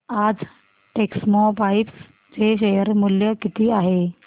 आज टेक्स्मोपाइप्स चे शेअर मूल्य किती आहे